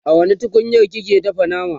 a wani tukunyar kike dafa nama?